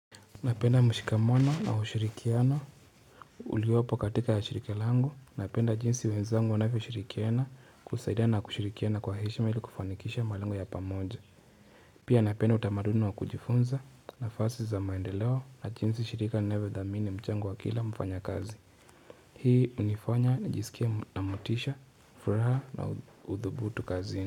Napenda mshikamano na hushirikiano uliopo katika shiriki langu napenda jinsi wenzangu wanavyo shirikiana kusaidia na kushirikiana kwa heshima hili kufanikisha malengo ya pamoja pia napenda utamaduni wa kujifunza nafasi za maendeleo na jinsi shirika linavyo dhamini mchango wa kila mfanyakazi hii hunifanya nijisikia na motisha furaha na udhubutu kazini.